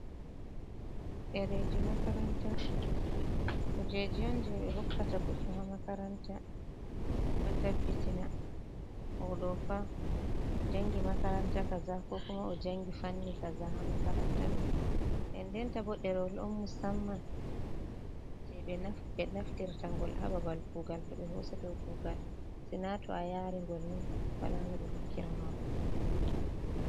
Ɗereji makaranta, kuujeji on je ɓe hokkata goɗɗo haa makaranta. Heɓa ɓe tabbitina oɗo fa, o jangi makaranta kaza, ko kuma o jangi fanni kaza haa makaranta ɗo. Ndendenta bo, ɗerewol on musamman je ɓe naftirta ngol haa babal kuugal to ɓe hosete kugal, sina to a yaari ngol ni wala no ɓe hokkira ma kuugal.